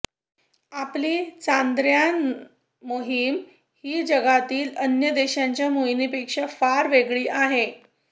आपली चांद्रयान मोहीम ही जगातील अन्य देशांच्या मोहिमेपेक्षा फार वेगळी आहे